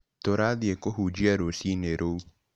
Tũrathiĩ kũhunjia rũcinĩ rũu?